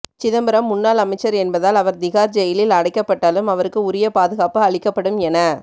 சிதம்பரம் முன்னாள் அமைச்சர் என்பதால் அவர் திகார் ஜெயிலில் அடைக்கப்பட்டாலும் அவருக்கு உரிய பாதுகாப்பு அளிக்கப்படும் என